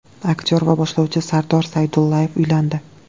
Aktyor va boshlovchi Sardor Saydullayev uylandi.